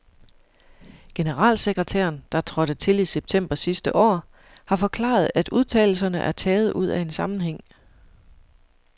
Generalsekretæren, der trådte til i september sidste år, har forklaret, at udtalelserne er taget ud af en sammenhæng.